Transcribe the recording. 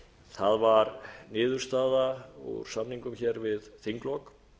það var niðurstaða úr samningum hér við þinglok